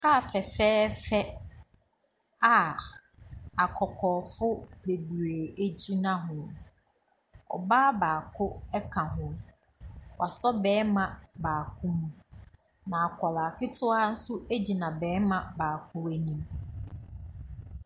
Car fɛfɛɛfɛ a akokɔɔfo bebree gyina ho. Ɔbaa baako ka ho. Wasɔ barima baako mu. Na akwaraa ketewa gyina barima baako anim.